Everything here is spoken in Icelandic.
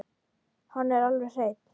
Hann er alveg hreinn.